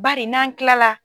Bari n'an kilala.